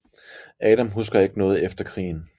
Adam husker ikke noget efter krigen